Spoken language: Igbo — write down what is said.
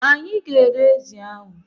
Anyị ga- ere ezi ahụ.